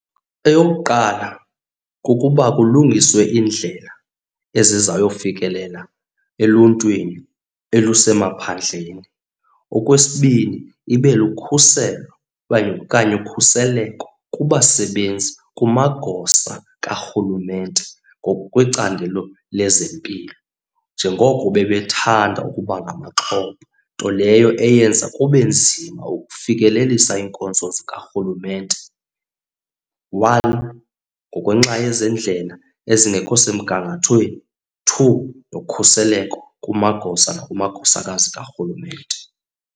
Eyokuqala kukuba kulungiswe iindlela ezizayofikelela eluntwini elusemaphandleni. Okwesibini ibe lukhuselo kanye okanye ukhuseleko kubasebenzi kumagosa karhulumente ngokwecandelo lezempilo. Njengoko bebethanda ukuba ngamaxhoba nto leyo eyenza kube nzima ukufikelelisa iinkonzo zikarhulumente. One, ngokwenxa yezendlela ezingekho semgangathweni. Two, nokhuseleko kumagosa nakumagosakazi karhulumente.